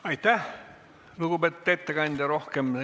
Aitäh, lugupeetud ettekandja!